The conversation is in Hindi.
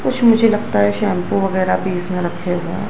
कुछ मुझे लगता है शैंपू वगैरा भी इसमें रखे हैं।